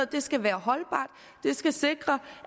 det skal være holdbart det skal sikre